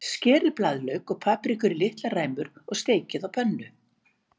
Skerið blaðlauk og paprikur í litlar ræmur og steikið á pönnu.